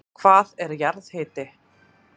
Hvað er jarðhiti?